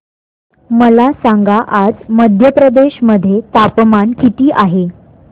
मला सांगा आज मध्य प्रदेश मध्ये तापमान किती आहे